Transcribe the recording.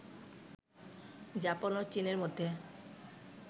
Japan ও চীনের মধ্যে